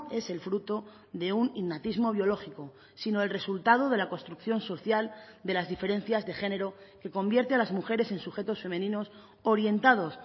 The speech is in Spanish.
es el fruto de un innatismo biológico sino el resultado de la construcción social de las diferencias de género que convierte a las mujeres en sujetos femeninos orientados